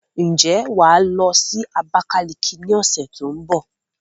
Ǹjẹ́ wà á lọ Abakaliki ní ọ̀sẹ̀ tó ń bọ̀?